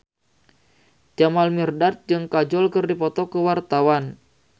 Jamal Mirdad jeung Kajol keur dipoto ku wartawan